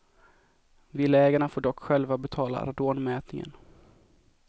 Villaägarna får dock själva betala radonmätningen.